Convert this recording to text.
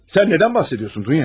Sen neden bahsediyorsun Dünya?